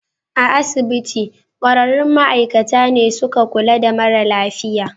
A asibitin, kwararrun ma'aikata ne suka kula da mara lafiyan